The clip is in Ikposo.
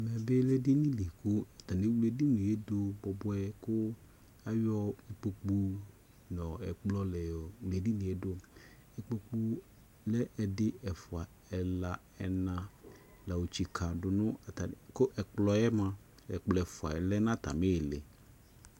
Ɛmɛ be lɛ edini de ko atane ewle edinie do bubuɛ ko ayo ikpokpu nɛ ɔ ɛkplɔ la yɔ wle edinie doIkpokpu lɛ ɛdi, ɛfua, ɛla, ɛna la yɔ tsika do no atane ko ɛkplɔ moa, ɛkplɔ ɛfua lɛ na atame le